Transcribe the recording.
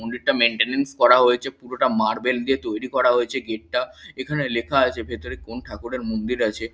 মন্দিরটা মেইনটেনেন্স করা হয়েছে পুরোটা মার্বেল দিয়ে তৈরী করা হয়েছে গেট এখানে লেখা আছে ভেতরে কোন ঠাকুরের মন্দির আছে।